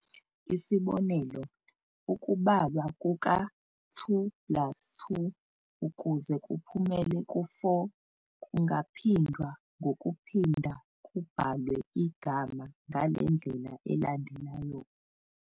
Isibonelo, ukubalwa kuka-2plus2 ukuze kuphumele ku-4 kungaphindwa ngokuphinda kubhalwe igama ngale ndlela elandelayo.